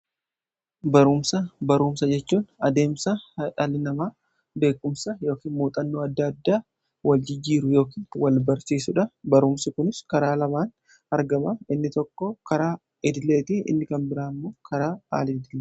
Baruumsa jechuun adeemsa dhaalli namaa beekumsa yookin muuxannoo adda adda waljijjiiru yookiin wal barsiisuudha. Baruumsi kunis karaa lamaan argama innis tokko karaa idileetiin, inni kan biraan immoo karaa aal-idileeti.